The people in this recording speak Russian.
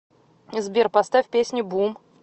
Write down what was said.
сбер поставь песня бум